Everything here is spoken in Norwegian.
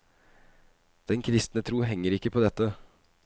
Den kristne tro henger ikke på dette.